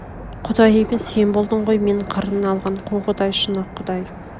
құдай емес сен болдың ғой мен қырына алған қу құдай шұнақ құдай